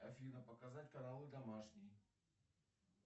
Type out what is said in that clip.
афина показать канал домашний